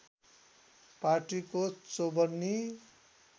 पार्टीको चौवन्नी